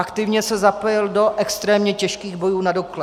Aktivně se zapojil do extrémně těžkých bojů na Dukle.